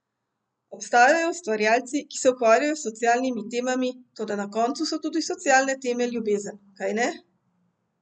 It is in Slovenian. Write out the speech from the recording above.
Obstajajo ustvarjalci, ki se ukvarjajo s socialnimi temami, toda na koncu so tudi socialne teme ljubezen, kajne?